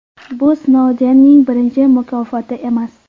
Bu Snoudenning birinchi mukofoti emas.